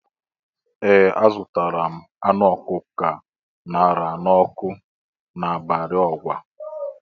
Ee! Azụtara m anụ ọkụkọ a ṅara n'ọkụ n'Ibari Ọgwa.